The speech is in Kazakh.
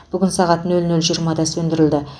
бүгін сағат нөл нөл жиырмада сөндірілді